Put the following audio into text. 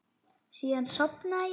Síðan sofnaði ég.